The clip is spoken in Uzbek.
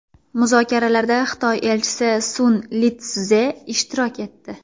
Muzokaralarda Xitoy elchisi Sun Litsze ishtirok etdi.